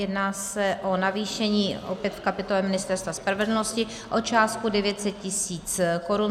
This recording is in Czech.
Jedná se o navýšení opět v kapitole Ministerstva spravedlnosti o částku 900 tisíc korun.